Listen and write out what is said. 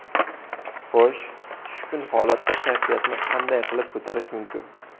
Xo‘sh, tushkun holatda kayfiyatni qanday qilib ko‘tarish mumkin?